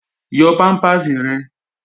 Yọ pámpàsì rẹ̀!